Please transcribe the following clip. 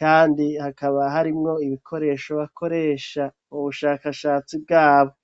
kandi hakaba harimwo ibikoresho bakoresha, ubushakashatsi bwabo.